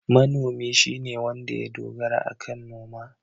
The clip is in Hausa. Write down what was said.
Manomi shine wanda ya dogara akan noma.